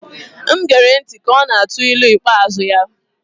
M ghere ntị ka ọ na-atụ ilu ikpeazụ ya